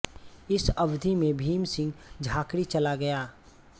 इस अवधी में भीम सिंह झाँकरी चला गया